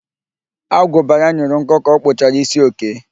Agụba ya nyụrụ nkọ ka ọ kpụchara ísí Okee